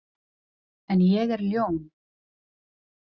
En ég er ljón.